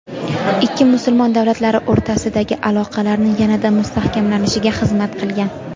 ikki musulmon davlatlari o‘rtasidagi aloqalarni yanada mustahkamlanishiga xizmat qilgan.